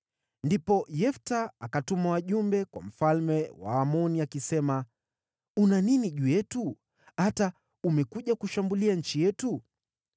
Ndipo Yefta akatuma wajumbe kwa mfalme wa Waamoni akisema, “Una nini juu yetu, hata umekuja kushambulia nchi yetu?”